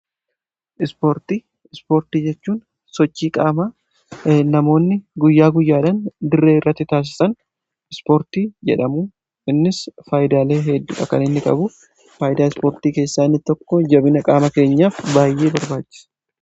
Ispoortii jechuun sochii qaama namoonni guyyaa guyyaadhan dirree irratti taasisan ispoortii jedhamu. Innis faayidaalee hedduudha kan inni qabu. Faayidaa ispoortii keessaa innitokko jabina qaama keenyaaf baay'ee barbaachisa.